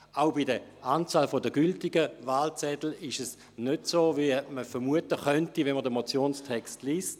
Auch bei der Anzahl der gültigen Wahlzettel ist es nicht so, wie man vermuten könnte, wenn man den Motionstext liest.